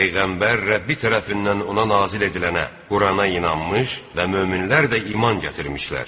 Peyğəmbər Rəbbi tərəfindən ona nazil edilənə, Qurana inanmış və möminlər də iman gətirmişlər.